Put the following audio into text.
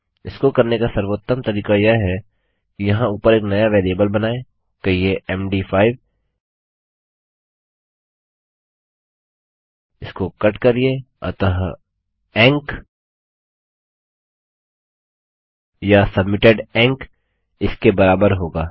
इसको करने का सर्वोत्तम तरीका यह है कि यहाँ ऊपर एक नया वेरिएबल बनाएँ कहिये मद5 इसको कट करिये अतः ईएनसी या सबमिटेड ईएनसी इसके बराबर होगा